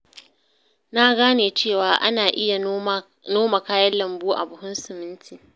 Na gane cewa ana iya noma kayan lambu a buhun siminti.